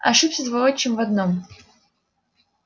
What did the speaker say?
ошибся твой отчим в одном